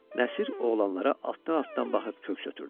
Nəsir oğlanlara altdan-altdan baxıb köks ötrüdü.